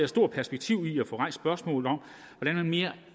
store perspektiver i at få rejst spørgsmålet om hvordan man mere